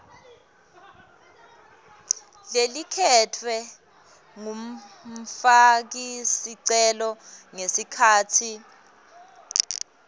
lelikhetfwe ngumfakisicelo ngesikhatsi